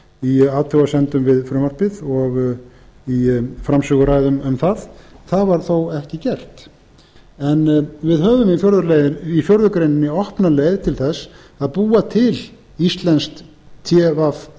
í athugasemdum við frumvarpið og í framsöguræðum um það það var þó ekki gert en við höfum í fjórða grein opna leið til þess að búa til íslenskt tv